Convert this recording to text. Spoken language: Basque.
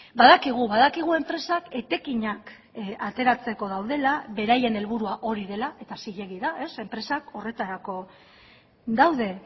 badakigu badakigu enpresak etekinak ateratzeko daudela beraien helburua hori dela eta zilegi da enpresak horretarako daude